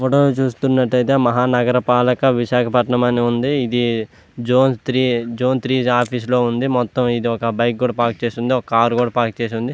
ఈ ఫోటో చూస్తునట్టు అయితే మహా నగరపాలక విశాకపట్నం అని వుంది ఇది zone three zone three office లాగా వుంది మొత్తం ఇది ఒక బైక్ కూడా పార్క్ చేసి వుంది ఒక కార్ కూడా ఉంది.